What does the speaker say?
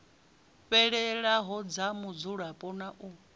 fhelelaho dza mudzulapo na u